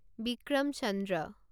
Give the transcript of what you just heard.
Vikram Chandra